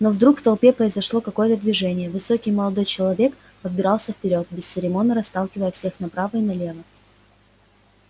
но вдруг в толпе произошло какое-то движение высокий молодой человек пробирался вперёд бесцеремонно расталкивая всех направо и налево